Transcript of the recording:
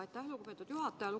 Aitäh, lugupeetud juhataja!